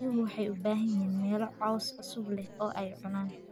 Riyuhu waxay u baahan yihiin meelo caws cusub leh oo ay cunaan.